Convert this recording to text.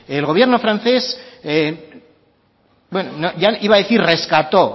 el gobierno francés bueno iba a decir rescató